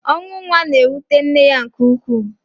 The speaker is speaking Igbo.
ọnwụ nwa na-ewute nne ya nke ukwuu.